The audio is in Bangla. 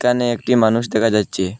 এখানে একটি মানুষ দেখা যাইচ্ছে।